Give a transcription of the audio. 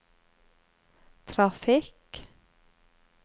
trafikk